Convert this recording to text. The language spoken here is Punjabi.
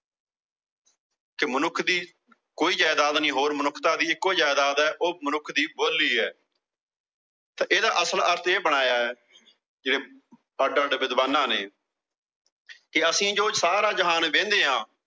ਕਿ ਮਨੁੱਖ ਦੀ ਕੋਈ ਜਾਇਦਾਦ ਨੀਂ ਹੋਰ, ਮਨੁੱਖਤਾ ਦੀ ਇਕੋ ਜਾਇਦਾਦ ਆ, ਉਹ ਮਨੁੱਖ ਦੀ ਬੋਲੀ ਆ। ਤਾਂ ਇਹਦਾ ਅਸਲ ਅਰਥ ਇਹ ਬਣਾਇਆ ਕਿ ਅੱਡ-ਅੱਡ ਵਿਦਵਾਨਾਂ ਨੇ ਕਿ ਅਸੀਂ ਜੋ ਸਾਰਾ ਜਹਾਨ ਵਿਹਣੇ ਆਂ।